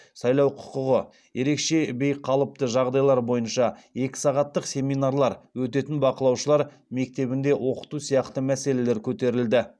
сайлау құқығы ерекше жағдайлар бойынша екі сағаттық семинарлар өтетін бақылаушылар мектебінде оқыту сияқты мәселелер көтерілді